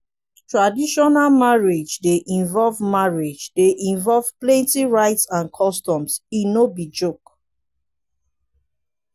traditional marriage dey involve marriage dey involve plenty rites and customs; e no be joke.